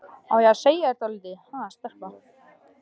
Á ég að segja þér dálítið, ha, stelpa?